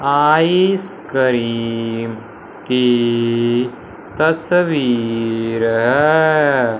Ice cream की तस्वीर है।